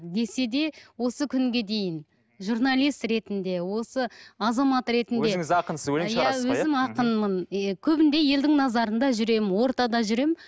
десе де осы күнге дейін журналист ретінде осы азамат ретінде өзіңіз ақынсыз өлең шығарасыз ғой иә өзім ақынмын е көбінде елдің назарында жүремін ортада жүремін